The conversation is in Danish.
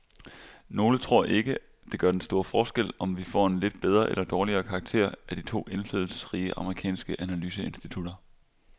Nogle tror ikke, det gør den store forskel, om vi får en lidt bedre eller dårligere karakter af de to indflydelsesrige amerikanske analyseinstitutter.